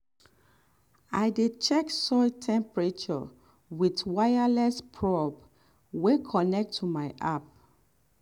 i dey check soil temperature with wireless probe wey connect to my app.